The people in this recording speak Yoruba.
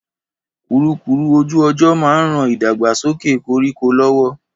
Kùrukùru ojú ọjọ́ ma n ran ìdàgbàsókẹ̀ koríko lọ́wọ́.